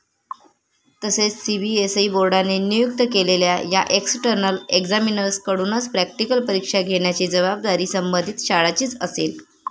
तसेच सीबीएसई बोर्डाने नियुक्त केलेल्या या एक्सटर्नल एग्झामिनर्सकडूनच प्रॅक्टिकल परीक्षा घेण्याची जबाबदारी संबंधित शाळांचीच असेल.